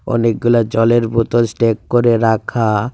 অনেকগুলা জলের বোতল স্ট্যাগ করে রাখা.